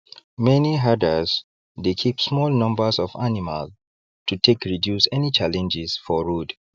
many herders dey keep small numbers of animal to take reduce any challenges for road